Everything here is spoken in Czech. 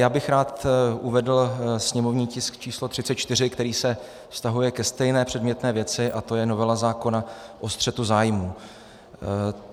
Já bych rád uvedl sněmovní tisk č. 34, který se vztahuje ke stejné předmětné věci, a to je novela zákona o střetu zájmů.